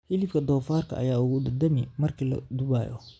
Hilibka doofaarka ayaa ugu dhadhami marka la dubayo.